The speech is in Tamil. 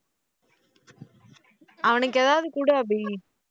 அவனுக்கு ஏதாவது கொடு அபி